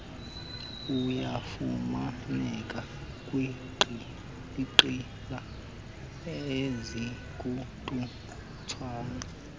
uyafumaneka kwinqila ezikututshane